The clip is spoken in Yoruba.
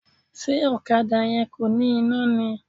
Ṣé ọ̀kadà yẹn kò ní iná ni?